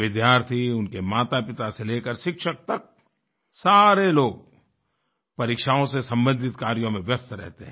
विद्यार्थी उनके मातापिता से लेकर शिक्षिक तक सारे लोग परीक्षाओं से सम्बंधित कार्यों में व्यस्त रहते हैं